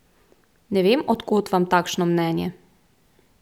Ne vem, od kod vam takšno mnenje.